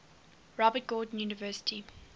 robert gordon university